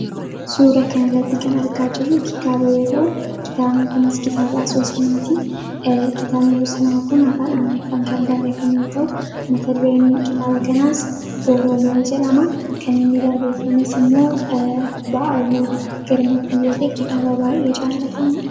suura kana irratti kan argaa jirru kitaaba yoo ta'u kitaabno kunis kitaaba asoosamaatii kitaabni asoosamaa kun afaan amaaeriffaan kan barreeffame yoo ta'u mata dureen kitaaba kanaas oroomaayi jalamaa kan inni barreeffames immoo ba’aluu girmaatii yoota kitaaba taa'e jaalatamaadha.